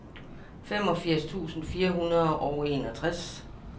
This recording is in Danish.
femogfirs tusind fire hundrede og enogtres